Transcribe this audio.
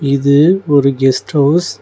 இது ஒரு guest house .